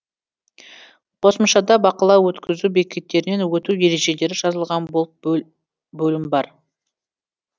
қосымшада бақылау өткізу бекеттерінен өту ережелері жазылған бөлім бар